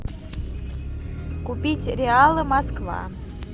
купить реалы москва